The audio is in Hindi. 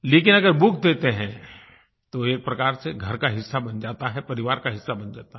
लेकिन अगर बुक देते हैं तो एक प्रकार से घर का हिस्सा बन जाता है परिवार का हिस्सा बन जाता है